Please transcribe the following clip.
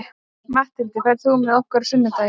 Matthildur, ferð þú með okkur á sunnudaginn?